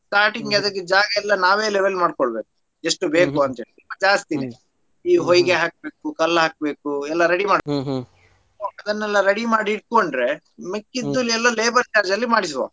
Starting ಅದ್ಕೆ ಜಾಗಯೆಲ್ಲ ನಾವೇ level ಮಾಡ್ಕೋಬೇಕು ಎಷ್ಟು ಬೇಕು ಅಂತ ಹೇಳಿ ಸ್ವಲ್ಪ ಜಾಸ್ತಿನೇ ಈ ಹೊಯಿಗೆ ಹಾಕ್ಬೇಕು ಕಲ್ಲು ಹಾಕ್ಬೇಕು ಎಲ್ಲಾ ready ಅದನ್ನೆಲ್ಲಾ ready ಮಾಡಿ ಇಟ್ಕೊಂಡ್ರೆ ಮಿಕ್ಕಿದು ಎಲ್ಲಾ labour charge ಲ್ಲಿ ಮಾಡಿಸುವ.